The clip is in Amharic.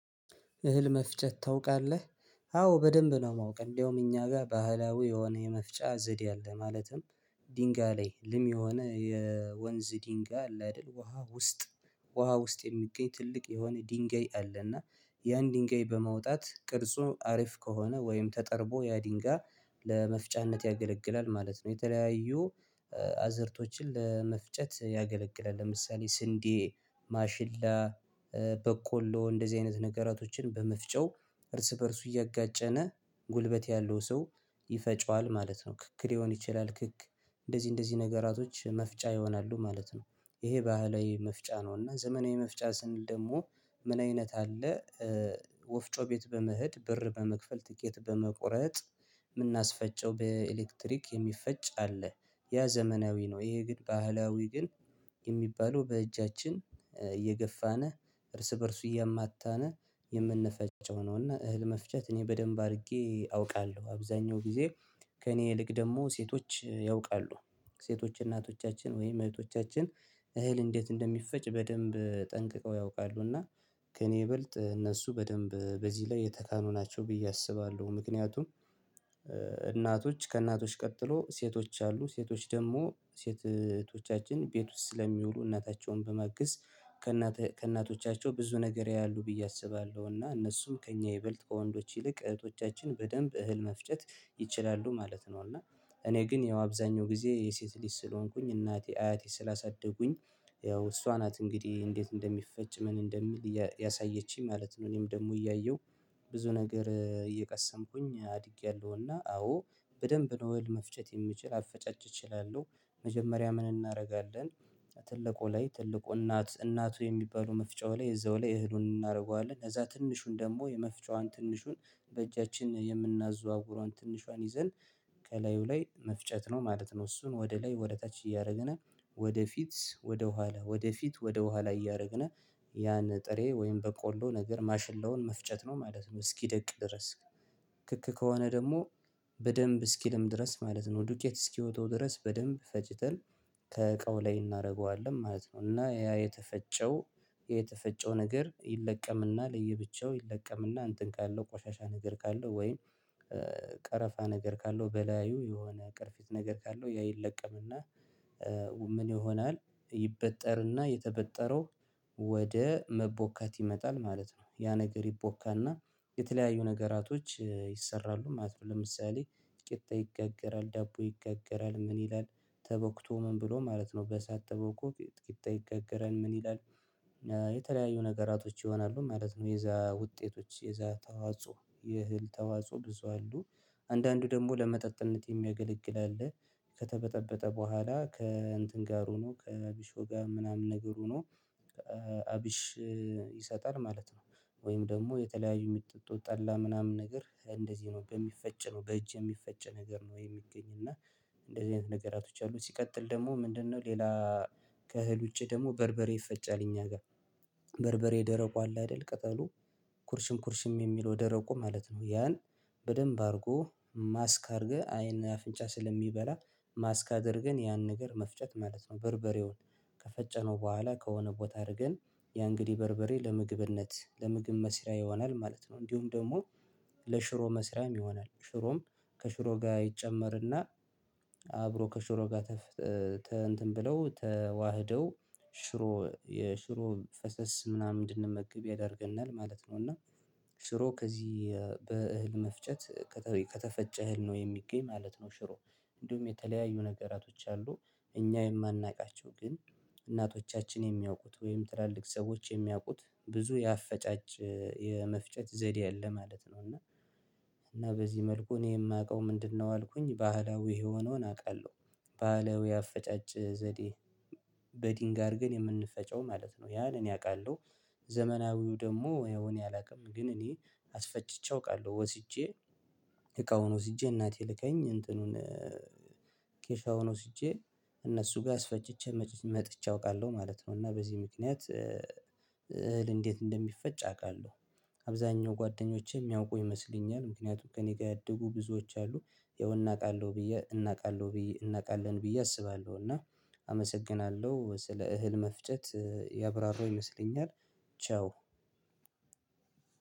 እህል መፍጨት ታውቃለህ? አዎ በደንብ ነው የማውቅ እንደውም እኛ ጋር ባህላዊ የሆነ የመፍጫ ዘዴ አለ ማለትም ድንጋይ ላይ ልም የሆነ የወንዝ ድንጋይ አለ አይደል ውሃ ውስጥ ውሃ ውስጥ የሚገኝ ትልቅ የሆነ ድንጋይ አለ እና ያን ድንጋይ በማውጣት ቅርጹ አሪፍ ከሆነ ወይም ተጠርቦ ያ ድንጋይ ለመፍጫነት ያገለግላል ማለት ነው የተለያዩ አዝርቶችን ለመፍጨት ያገለግላል ለምሳሌ ስንዴ ማሽላ በቆሎ እንደዚህ አይነት ነገራቶችን በመፍጫው እርስ በእርሱ እያጋጨነ ጉልበት ያለው ሰው ይፈጨዋል ማለት ነው ክክ ሊሆን ይችላል ክክ እንደዚህ እንደዚህ ነገራቶች መፍጫ ይሆናሉ ማለት ነው ይሄ ባህላዊ መፍጫ ነው እና ዘመናዊ መፍጫ ስንል ደግሞ ምን አይነት አለ ወፍጮ ቤት በመሄድ ብር በመክፈል ትኬት በመቁረጥ የምናስፈጨው በኤሌክትሪክ የሚፈጭ አለ ያ ዘመናዊ ነው ይሄ ግን ባህላዊ ግን የሚባለው በእጃችን እየገፋነ እርስ በእርሱ እያማታነ የምንፈጨው ነው እና እህል መፍጨት እኔ በደንብ አድርጌ አውቃለሁ አብዛኛው ጊዜ ከእኔ ይልቅ ደግሞ ሴቶች ያውቃሉ ሴቶች እናቶቻችን ወይም እህቶቻችን እህል እንዴት እንደሚፈጭ በደንብ ጠንቅቀው ያውቃሉ እና ከእኔ ይበልጥ እነሱ በደንብ በዚህ ላይ የተካኑ ናቸው ብዬ አስባለሁ ምክንያቱም እናቶች ከእናቶች ቀጥሎ ሴቶች አሉ ሴቶች ደግሞ ሴት እህቶቻችን ቤት ውስጥ ስለሚውሉ እናታቸውን በማገዝ ከእናቶቻቸው ብዙ ነገር ያያሉ ብዬ አስባለሁና እነሱም ከእኛ ይበልጥ ከወንዶች ይልቅ እህቶቻችን በደንብ እህል መፍጨት ይችላሉ ማለት ነው እና እኔ ግን ያው አብዛኛው ጊዜ የሴት ልጅ ስለሆንኩኝ እናቴ አያቴ ስላሳደጉኝ ያው እሷ ናት እንግዲህ እንዴት እንደሚፈጭ ምን እንደሚል ያሳየችኝ ማለት ነው እኔም ደግሞ እያየሁ ብዙ ነገር እየቀሰምኩኝ አድጌያለሁና አዎ በደንብ ነው እህል መፍጨት የምችል አፈጫጭ እችላለሁ መጀመሪያ ምን እናደርጋለን ትልቁ ላይ ትልቁ እናት እናቱ የሚባሉ መፍጫው ላይ እዛው ላይ እህሉን እናደርገዋለን ከዛ ትንሹን ደግሞ የመፍጫዋን ትንሹን በእጃችን የምናዘዋውረውን ትንሿን ይዘን ከላዩ ላይ መፍጨት ነው ማለት ነው እሱን ወደ ላይ ወደ ታች እያደረግነ ወደፊት ወደ ኋላ ወደፊት ወደ ኋላ እያደረግነ ያን ጥሬ ወይም በቆሎ ነገር ማሽላውን መፍጨት ነው ማለት ነው እስኪደቅ ድረስ ክክ ከሆነ ደግሞ በደንብ እስኪልም ድረስ ማለት ነው ዱቄት እስኪወጣው ድረስ በደንብ ፈጭተን ከእቃው ላይ እናደርገዋለን ማለት ነው እና ያ የተፈጨው የተፈጨው ነገር ይለቀምና ለየብቻው ይለቀምና እንትን ካለው ቆሻሻ ነገር ካለው ወይም ቀረፋ ነገር ካለው በላዩ የሆነ ቅርፊት ነገር ካለው ያ ይለቀምና ምን ይሆናል ይበጠርና የተበጠረው ወደ መቦካት ይመጣል ማለት ነው ያ ነገር ይቦካና የተለያዩ ነገራቶች ይሰራሉ ማለት ነው ለምሳሌ ቂጣ ይጋገራል ዳቦ ይጋገራል ምን ይላል ተቦክቶ ምን ብሎ ማለት ነው በእሳት ተቦክቶ ቂጣው ይጋገራል ምን ይላል የተለያዩ ነገራቶች ይሆናሉ ማለት ነው የዛ ውጤቶች የዛ ተዋጽኦ የእህል ተዋጽኦ ብዙ አሉ አንዳንዱ ደግሞ ለመጠጥነት የሚያገለግል አለ ከተበጠበጠ በኋላ ከእንትን ጋር ሆኖ ከቢሾ ጋ ምናምን ነገር ሆኖ አብሽ ይሰጣል ማለት ነው ወይም ደግሞ የተለያዩ ጥቁር ጠላ ምናምን ነገር እንደዚህ ነው በሚፈጭ ነው በእጅ የሚፈጨ ነገር ነው የሚገኝ እና እንደዚህ አይነት ነገሮች አሉ ሲቀጥል ደግሞ ምንድነው ሌላ ከእህል ውጪ ደግሞ በርበሬ ይፈጫል እኛ ጋር በርበሬ ደረቁ አለ አይደል ቅጠሉ ኩርሽም ኩርሽም የሚለው ደረቁ ማለት ነው ያን በደንብ አድርጎ ማስክ አድርገህ ዓይንና አፍንጫ ስለሚበላ ማስክ አድርገን ያን ነገር መፍጨት ማለት ነው በርበሬውን ከፈጨነው በኋላ ከሆነ ቦታ አድርገን ያ እንግዲህ በርበሬ ለምግብነት ለምግብ መስሪያ ይሆናል ማለት ነው እንዲሁም ደግሞ ለሽሮ መስሪያም ይሆናል ሽሮም ከሽሮ ጋር ይጨመርና አብሮ ከሽሮ ጋር ተፍ እንትን ብለው ተዋህደው ሽሮ የሽሮ ፈሰስ ምናምን እንድንመግብ ያደርገናል ማለት ነው እና ሽሮ ከዚህ በእህል መፍጨት ከተፈጨ እህል ነው የሚገኝ ማለት ነው ሽሮ እንዲሁም የተለያዩ ነገራቶች አሉ እኛ የማናውቃቸው ግን እናቶቻችን የሚያውቁት ወይም ትላልቅ ሰዎች የሚያውቁት ብዙ የአፈጫጭ የመፍጨት ዘዴ አለ ማለት ነው እና እና በዚህ መልኩ እኔ የማውቀው ምንድነው አልኩኝ ባህላዊ የሆነውን አውቃለሁ ባህላዊ አፈጫጭ ዘዴ በዲንጋ አድርገን የምንፈጨው ማለት ነው ያን እኔ አውቃለሁ ዘመናዊው ደግሞ ያው እኔ አላውቅም ግን እኔ አስፈጭቼ አውቃለሁ ወስጄ እቃውን ወስጄ እናቴ ልካኝ እንትኑን ኬሻውን ወስጄ እነሱ ጋር አስፈጭቼ መጥቼ አውቃለሁ ማለት ነው እና በዚህ ምክንያት እህል እንዴት እንደሚፈጭ አውቃለሁ አብዛኛው ጓደኞቼ የሚያውቁ ይመስለኛል ምክንያቱም ከእኔ ጋር ያደጉ ብዙዎች አሉ ይኸው እናውቃለሁ ብዬ እናውቃለሁ ብዬ እናውቃለን ብዬ አስባለሁ እና አመሰግናለሁ ስለ እህል መፍጨት ያብራራው ይመስለኛል ቻው